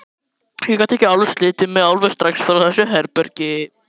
Ég gat ekki slitið mig alveg strax frá þessu herbergi.